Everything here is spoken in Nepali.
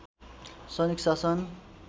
सैनिक शासन